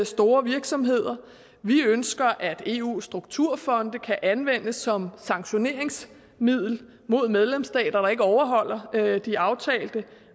store virksomheder vi ønsker at eus strukturfonde kan anvendes som sanktioneringsmiddel mod medlemsstater der ikke overholder de aftalte